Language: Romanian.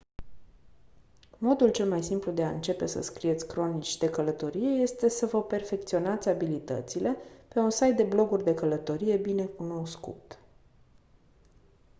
modul cel mai simplu de a începe să scrieți cronici de călătorie este să vă perfecționați abilitățile pe un site de bloguri de călătorie bine cunoscut